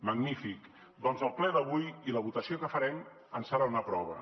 magnífic doncs el ple d’avui i la votació que farem en seran una prova